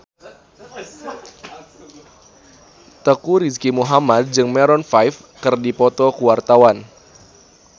Teuku Rizky Muhammad jeung Maroon 5 keur dipoto ku wartawan